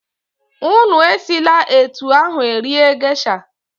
Unu esila etu ahụ rie gesha!